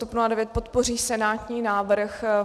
TOP 09 podpoří senátní návrh.